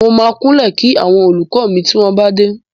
Mo máa kúnlẹ̀ kí àwọn olùkọ́ mi tí wọ́n bá dé.